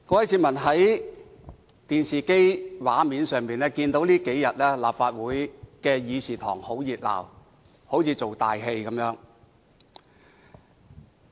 市民大眾從電視看到這幾天的立法會議事堂十分熱鬧，仿如在做"大戲"。